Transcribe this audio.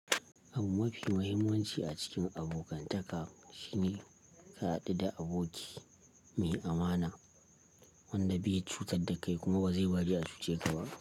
Abun mafi muhimmanci a cikin abokantaka shine ka haɗu da aboki mai amana. Wanda bai cutar da kai kuma ba zai bari a cuce ka ba.